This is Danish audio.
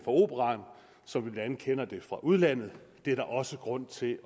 operaen som vi blandt andet kender det fra udlandet det er der også grund til